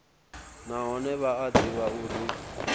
nahone vha a ḓivha uri